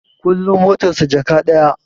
Kullin motar sa Jaka ɗaya